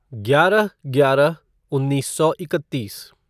ग्यारह ग्यारह उन्नीस सौ इकत्तीस